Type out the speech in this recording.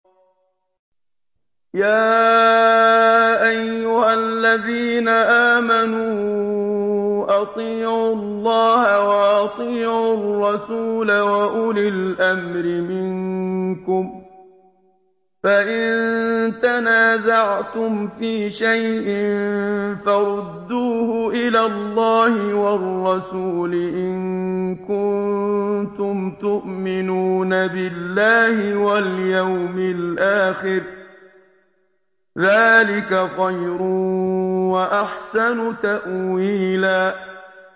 يَا أَيُّهَا الَّذِينَ آمَنُوا أَطِيعُوا اللَّهَ وَأَطِيعُوا الرَّسُولَ وَأُولِي الْأَمْرِ مِنكُمْ ۖ فَإِن تَنَازَعْتُمْ فِي شَيْءٍ فَرُدُّوهُ إِلَى اللَّهِ وَالرَّسُولِ إِن كُنتُمْ تُؤْمِنُونَ بِاللَّهِ وَالْيَوْمِ الْآخِرِ ۚ ذَٰلِكَ خَيْرٌ وَأَحْسَنُ تَأْوِيلًا